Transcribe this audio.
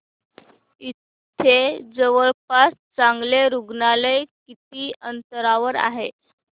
इथे जवळपास चांगलं रुग्णालय किती अंतरावर आहे